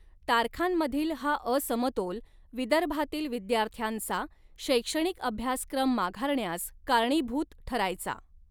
तारखांमधील हा असमतोल विदर्भातील विद्यार्थ्यांचा शैक्षणिक अभ्यासक्रम माघारण्यास कारणीभूत ठरायचा.